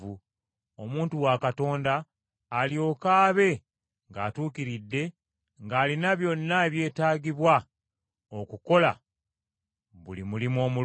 omuntu wa Katonda alyoke abe ng’atuukiridde, ng’alina byonna ebyetaagibwa okukola buli mulimu omulungi.